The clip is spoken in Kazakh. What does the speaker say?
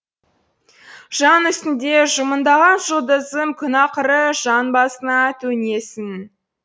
жан үстінде жымыңдаған жұлдызым күн ақыры жан басына төнесің